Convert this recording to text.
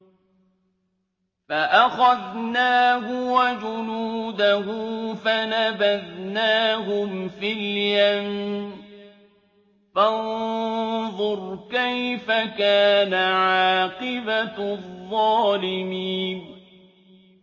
فَأَخَذْنَاهُ وَجُنُودَهُ فَنَبَذْنَاهُمْ فِي الْيَمِّ ۖ فَانظُرْ كَيْفَ كَانَ عَاقِبَةُ الظَّالِمِينَ